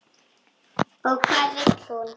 Og hvað vill hún?